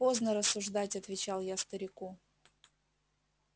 поздно рассуждать отвечал я старику